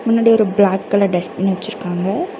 முன்னாடி ஒரு black colour dustbin வச்சுருக்காங்க.